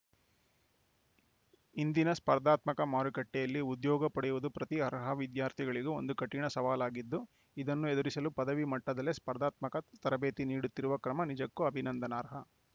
ಇಂದಿನ ಸ್ಪರ್ಧಾತ್ಮಕ ಮಾರುಕಟ್ಟೆಯಲ್ಲಿ ಉದ್ಯೋಗ ಪಡೆಯುವುದು ಪ್ರತಿ ಅರ್ಹ ವಿದ್ಯಾರ್ಥಿಗಳಿಗೆ ಒಂದು ಕಠಿಣ ಸವಾಲಾಗಿದ್ದು ಇದನ್ನು ಎದುರಿಸಲು ಪದವಿ ಮಟ್ಟದಲ್ಲೇ ಸ್ಪರ್ಧಾತ್ಮಕ ತರಬೇತಿ ನೀಡುತ್ತಿರುವ ಕ್ರಮ ನಿಜಕ್ಕೂ ಅಭಿನಂದನಾರ್ಹ